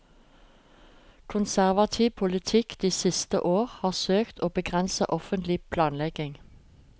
Konservativ politikk de siste år har søkt å begrense offentlig planlegging.